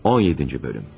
17-ci bölüm.